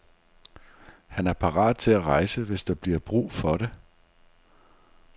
Han er parat til at rejse, hvis der bliver brug for det.